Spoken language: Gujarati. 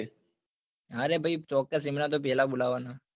અરે ભાઈ ચોક્કસ એમને તો પેલા બોલાવવા ના